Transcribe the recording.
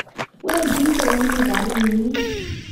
wendi kouni kariinyin